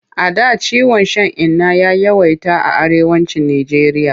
A da ciwon shan inna ya yawaita a Arewacin Nijeriya.